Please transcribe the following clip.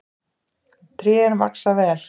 Trén vaxa vel.